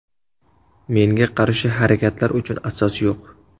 Menga qarshi harakatlar uchun asos yo‘q.